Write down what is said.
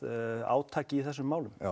átaki í þessum málum